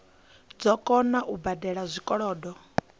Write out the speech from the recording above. dzo kona u badela zwikolodo